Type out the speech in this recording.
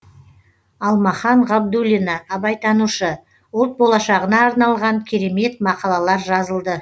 алмахан ғабдуллина абайтанушы ұлт болашағына арналған керемет мақалалар жазылды